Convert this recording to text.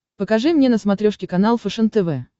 покажи мне на смотрешке канал фэшен тв